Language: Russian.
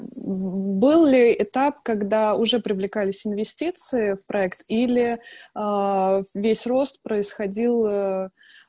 был ли этап когда уже привлекались инвестиции в проект или весь рост происходил